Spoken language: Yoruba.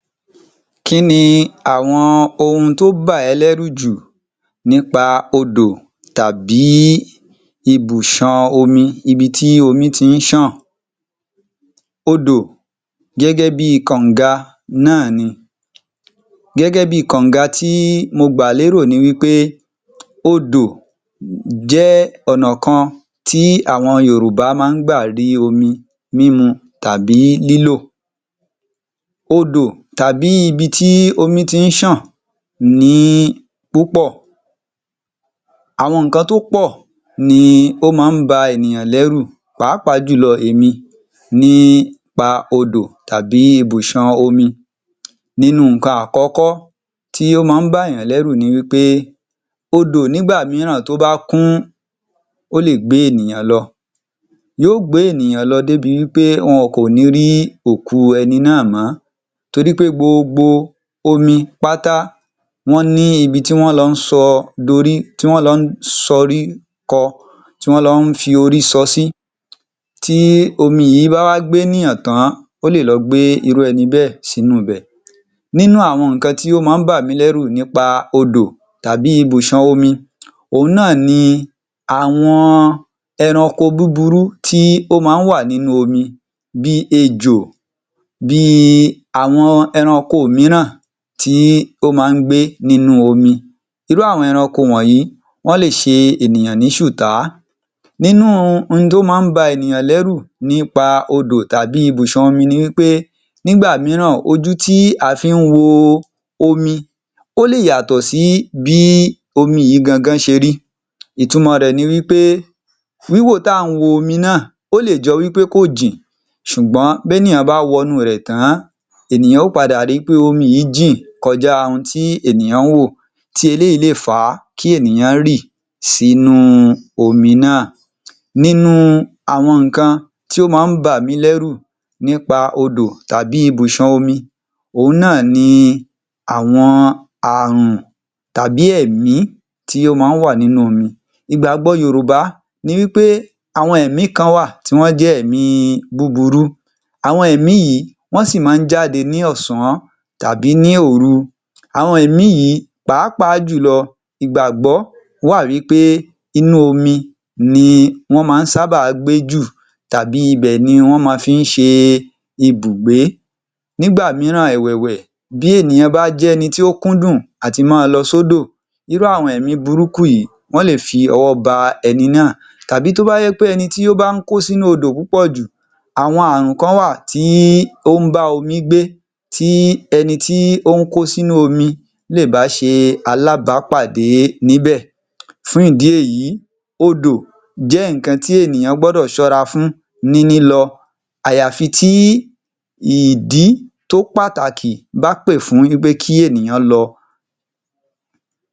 Kí ni àwọn ohun tó bà ẹ́ lẹ́rù jù nípa odò tàbí ibùṣan omi, ibi tí omi ti ń ṣàn? Odò gẹ́gẹ́ bi kọ̀nga náà ni, gẹ́gẹ́ bi kọ̀nga tí mo gbà lérò ni wí pé, odò jẹ́ ọ̀nà kan tí àwọn Yorùbá máa ń gbà rí omi mímu tàbí lílò. Odò tàbí ibi tí omi ti ń ṣàn ní púpọ̀, àwọn ǹnkan tó pọ̀ ni ó máa ń ba ènìyàn lẹ́rù pàápàá jùlọ èmi. Nípa odò tàbí ibùṣàn omi, nǹkan àkọ́kọ́ í ó máa ń bà yàn lẹ́rù ni wí pé odò nígbà mìíràn tó bá kún, ó lè gbé ènìyàn lọ, yóò gbè ènìyàn lọ débi wí pé wọn ò ní rí òkú ẹni náà mọ́ torí pé gbogbo omi páta, wọ́n ní ibi tí wọ́n lọ sọ, dorí, tí wọ́n lọ sọrí kọ, tí wọ́n lọ fi orí sọ sí, tí omi yìí bá wá gbé ènìyàn tán, ó le lọ gbé irú ẹni náà sínú ibẹ̀. Nínú àwọn ǹnkan tí ó máa ń bà mí lẹ́rù nípa odò tàbí ibùṣàn omi, òun náà ni àwọn ẹranko búburú tí ó máa ń wà nínú omi bí i ejò, bí i àwọn ẹranko mìíràn tí ó máa ń gbé nínú omi, irú àwọn ẹranko wọ̀nyìí, wọ́n le ṣe ènìyàn ní ṣùtá. Nínú ohun tó máa ń ba ènìyàn lẹ́rù nípa odò tàbí ibùṣàn omi ni wí pé nígbà mìíràn, ojú tí a fi ń wo omi, ó lè yàtọ̀ sí bí omi yìí gangan ṣe rí, ìtumọ̀ rẹ̀ ni wí pé, wíwò tí à ń wo omi náà, ó lè jọ wí pé kò jìn ṣùgbọ́n tí ènìyàn bá wọnú rẹ̀ tán, ènìyàn yóò padà ri pé omi yìí jìn kọjá ohun tí ènìyàn ń wò tí eléyìí le fa kí ènìyàn rì sí inú omi náà. Nínú àwọn nǹkan tí ó máa ń bà mí lẹ́rù nípà odò tàbí ibùṣàn omi, òun náà ni àwọn ààrùn tàbí ẹ̀mí tí ó máa ń wà nínú omi, ìgbàgbọ́ Yorùbá ni wí pé àwọn ẹ̀mí kan wà tí wọ́n jẹ́ ẹ̀mí búburú, àwọn ẹ̀mí yìí wọ́n sì máa ń jáde ní ọ̀sán tàbí ní òru, àwọn ẹ̀mí yìí pàápàá jùlọ ìgbàgbọ́ wà wí pé inú omi ní wọ́n máa ń sábà gbé jù tàbí ibẹ̀ ni wọ́n máa fí ń ṣe ibùgbé, nígbà mìíràn ẹ̀wẹ̀wẹ̀ bí ènìyàn bá jẹ́ ẹni tó kúndùn à ti máa lọ sódò, irú àwọn ẹ̀mí burúkú yìí, wọ́n le fi ọwọ́ ba ẹni náà, tàbí tó bá jẹ́ wí pé ẹni tó bá ń kó sínú odò púpọ̀ jù, àwọn ààrùn kàn wà tí ó ń bá omi gbé tí ẹni tí ó ń kó sínú omi lè bá ṣe alábàápàdé níbè. Fún ìdí èyí, odò jẹ́ nǹkan tí ènìyàn gbọ́dọ̀ ṣọ́ra fún ní lílọ, àyàfí tí ìdí tó pàtàkì bá pè fún pé kí ènìyàn lọ.